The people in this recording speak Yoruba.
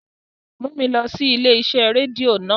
Mu mi lọ si ile-iṣẹ redio naa!